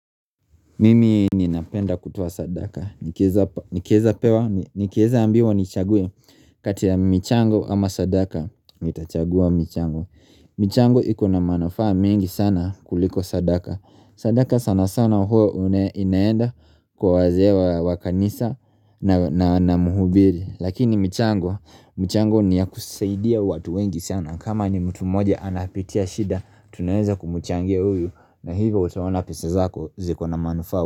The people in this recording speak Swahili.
Mimi ni napenda kutoa sadaka nikiweza Nikieza ambiwa nichaguwe kati ya michango ama sadaka nitachagua michango michango ikona manafaa mingi sana kuliko sadaka. Sadaka sana sana huo inaenda kwa wazee wa kanisa na muhubiri. Lakini michango ni ya kusaidia watu wengi sana kama ni mtu moja anapitia shida Tunaeza kumuchangia uyu na hivyo utaona pesa zako ziko na manufaa.